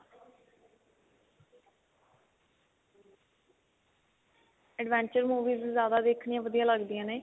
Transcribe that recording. adventure movies ਜਿਆਦਾ ਦੇਖਣੀਆਂ ਵਧੀਆ ਲਗਦੀਆਂ ਨੇ